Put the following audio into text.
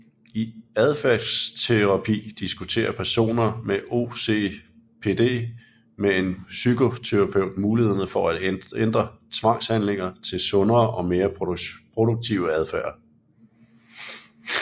I adfærdsterapi diskuterer personen med OCPD med en psykoterapeut mulighederne for at ændre tvangshandlinger til sundere og mere produktive adfærd